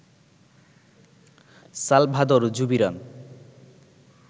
Salvador Zubiran